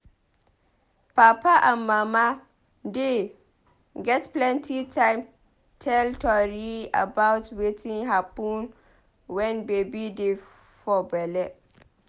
Papa and mama dey get plenty time tell tori about wetin happun wen baby dey for belle.